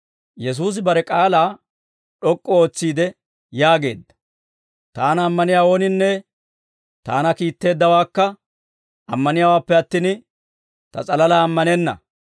Yesuusi bare k'aalaa d'ok'k'u ootsiide yaageedda; «Taana ammaniyaa ooninne Taana kiitteeddawaakka ammaniyaawaappe attin, Ta s'alalaa ammanenna.